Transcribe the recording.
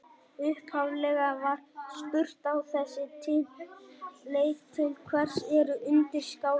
Upphaflega var spurt á þessa leið: Til hvers eru undirskálar?